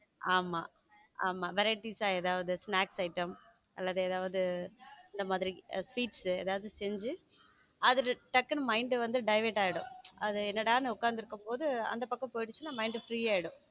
ஆமா ஆமா varieties ஆ ஏதாவது snacks iteam வேற ஏதாவது இந்த மாதிரி sweets ஏதாவது செஞ்சு அதுல டக்குனு mind deviate ஆயிடும் அது என்ன டா நான் உட்கார்ந்து இருக்கும் போது அந்த பக்கம் போயிடுச்சுன்னா mind free ஆயிடும்.